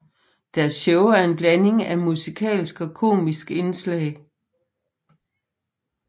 Deres shows er en blanding af musikalske og komiske indslag